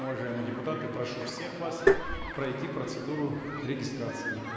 уважаемые депутаты прошу всех вас пройти процедуру регистрации